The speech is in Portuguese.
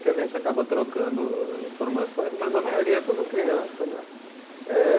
Que a gente acaba trocando informações, mas a maioria é tudo criança, né? Eh